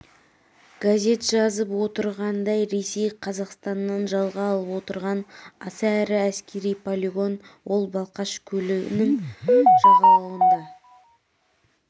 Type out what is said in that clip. газет жазып отырғандай ресей қазақстаннан жалға алып отырған аса ірі әскери полигон ол балқаш көлінінің жағалауында